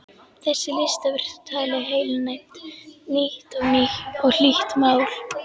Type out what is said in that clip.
Þessi listaverk tali heilnæmt, nýtt og hlýtt mál.